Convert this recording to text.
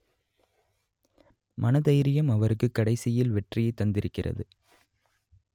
மனதைரியம் அவருக்கு கடைசியில் வெற்றியை தந்திருக்கிறது